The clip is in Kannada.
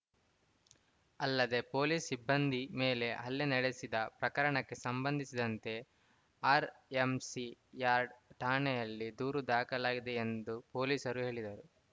ಅಲ್ಲದೆ ಪೊಲೀಸ್‌ ಸಿಬ್ಬಂದಿ ಮೇಲೆ ಹಲ್ಲೆ ನಡೆಸಿದ ಪ್ರಕರಣಕ್ಕೆ ಸಂಬಂಧಿಸಿದಂತೆ ಆರ್‌ಎಂಸಿ ಯಾರ್ಡ್‌ ಠಾಣೆಯಲ್ಲಿ ದೂರು ದಾಖಲಾಗಿದೆ ಎಂದು ಪೊಲೀಸರು ಹೇಳಿದರು